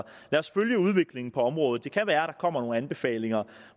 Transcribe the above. os følge udviklingen på området det kan være der kommer nogle anbefalinger og